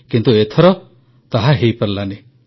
କିନ୍ତୁ ଏଥର ତାହା ହୋଇପାରିଲାନି